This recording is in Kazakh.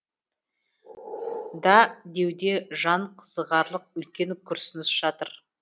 да деуде жан қызығарлық үлкен күрсініс жатыр